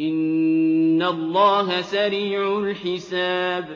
إِنَّ اللَّهَ سَرِيعُ الْحِسَابِ